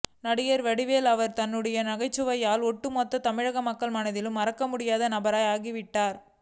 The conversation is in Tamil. நடிகர் வடிவேலு அவர்கள் தன்னுடைய நகைச்சுவையால் ஒட்டுமொத்த தமிழக மக்கள் மனதிலும் மறக்க முடியாத நபர் ஆகிவிட்டார்